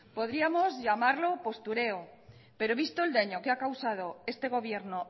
podríamos llamarlo postureo pero visto el daño que ha causado este gobierno